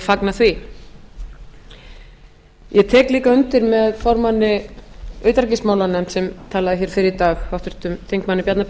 fagna því ég tek líka undir með formanni utanríkismálanefndar sem talaði hér fyrr í dag